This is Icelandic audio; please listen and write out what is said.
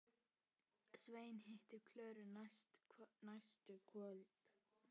Svenni hittir Klöru næstu kvöld.